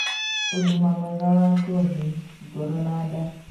Ũgima mwega wa ngothi, ngoro, na nda